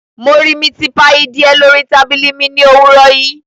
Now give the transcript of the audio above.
Mo ri miti paii diẹ lori tabili mi ni owurọ yii